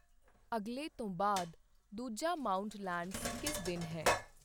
ਅਗਲੇ ਤੋਂ ਬਾਅਦ ਦੂਜਾ ਮਾਂਉਟ ਲੈਂਡਸ ਕਿਸ ਦਿਨ ਹੈ?